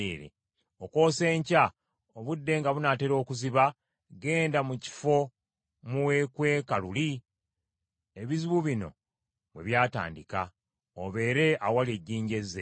Okwosa enkya, obudde nga bunaatera okuziba, genda mu kifo mwe weekweka luli, ebizibu bino bwe byatandika, obeere awali ejjinja Ezeri.